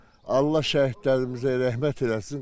Allah şəhidlərimizə rəhmət eləsin.